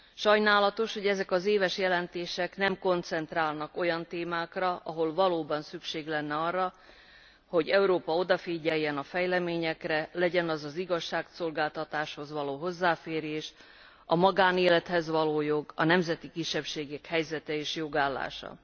Sajnálatos, hogy ezek az éves jelentések nem koncentrálnak olyan témákra, ahol valóban szükség lenne arra, hogy Európa odafigyeljen a fejleményekre, legyen az az igazságszolgáltatáshoz való hozzáférés, a magánélethez való jog, vagy a nemzeti kisebbségek helyzete és jogállása.